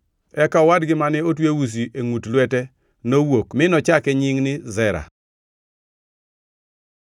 Eka owadgi mane otwe usi e ngʼut lwete nowuok mi nochake nying ni Zera. + 38:30 Zera tiende ni makwar.